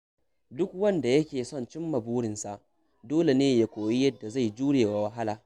Duk wanda yake son cimma burinsa, dole ne ya koyi yadda zai jure wa wahala.